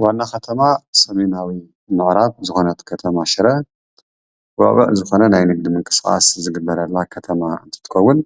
ዋና ከተማ ሰሜናዊ ምዕራብ ዝኾነት ከተማ ሽረ ውዕዉዕ ዝኾነ ናይ ንግዲ ምንቅስቓስ ዝግበረላ ከተማ እንትትከውን